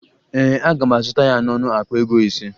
Ee, aga m azụta ya n'ọnụ akpa ego ise